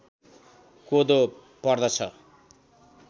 कोदो पर्दछ